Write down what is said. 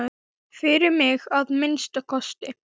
Fyrir mig, að minnsta kosti.